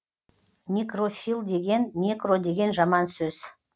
некрофил деген некро деген жаман сөз